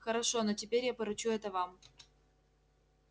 хорошо но теперь я поручу это вам